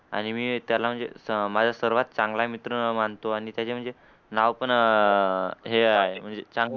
आणि मी त्याला म्हणजे माझा सर्वात चांगला मित्र मानतो आणि त्या चं म्हणजे नाव पण आहे म्हणजे